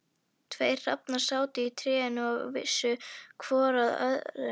Tveir hrafnar sátu í trénu og vissu hvor að öðrum.